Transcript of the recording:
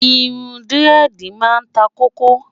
irún diredi má n tá koko